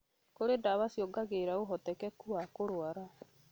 kũrĩ ndawa ciongagĩrĩra ũhotekeku wa kũrwara